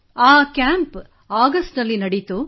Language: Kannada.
ಈ ಕ್ಯಾಂಪ್ ಅಗಸ್ಟ್ ನಲ್ಲಿ ನಡೆಯಿತು